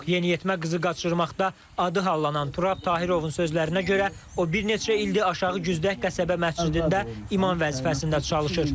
Yeniyetmə qızı qaçırmaqda adı hallanan Turab Tahirovun sözlərinə görə, o bir neçə ildir Aşağı Güzdək qəsəbə məscidində imam vəzifəsində çalışır.